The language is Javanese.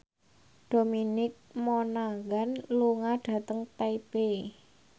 Dominic Monaghan lunga dhateng Taipei